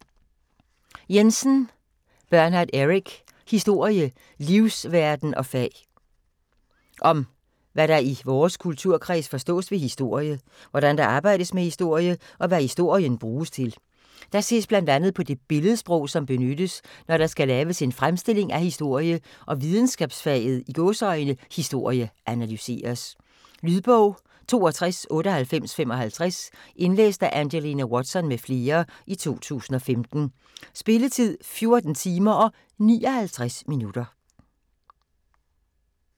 Jensen, Bernard Eric: Historie - livsverden og fag Om hvad der i vores kulturkreds forstås ved historie, hvordan der arbejdes med historie, og hvad historien bruges til. Der ses bl.a. på det billedsprog, som benyttes når der skal laves en fremstilling af historie og videnskabsfaget "historie" analyseres. Lydbog 629855 Indlæst af Angelina Watson m.fl., 2015. Spilletid: 14 timer, 59 minutter.